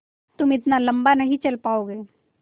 तुम इतना लम्बा नहीं चल पाओगे